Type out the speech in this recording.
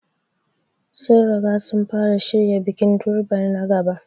Sun riga sun fara shirya bikin Durbar na gaba.